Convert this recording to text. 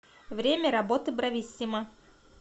время работы брависсимо